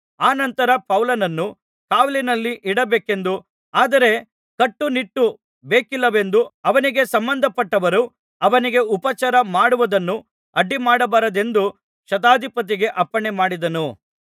ಅನಂತರ ಪೌಲನನ್ನು ಕಾವಲ್ಲಿನಲ್ಲಿ ಇಡಬೇಕೆಂದೂ ಆದರೆ ಕಟ್ಟು ನಿಟ್ಟು ಬೇಕಿಲ್ಲವೆಂದೂ ಅವನಿಗೆ ಸಂಬಂಧಪಟ್ಟವರು ಅವನಿಗೆ ಉಪಚಾರ ಮಾಡುವುದನ್ನು ಅಡ್ಡಿಮಾಡಬಾರದೆಂದು ಶತಾಧಿಪತಿಗೆ ಅಪ್ಪಣೆಮಾಡಿದನು